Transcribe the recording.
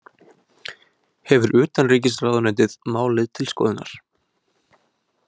Hefur utanríkisráðuneytið málið til skoðunar